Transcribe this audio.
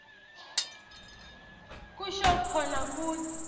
kusho kona kutsi